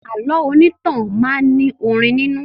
Àlọ́ onítàn máa ní orin nínú